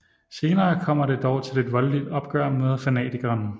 Senere kommer det dog til et voldeligt opgør med fanatikeren